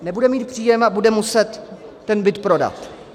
Nebude mít příjem a bude muset ten byt prodat.